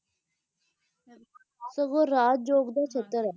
ਸਗੋਂ ਰਾਜ ਯੋਗ ਦਾ ਸ਼ਤਰ ਐ